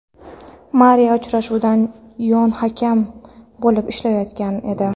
Mariya uchrashuvda yon hakam bo‘lib ishlayotgan edi.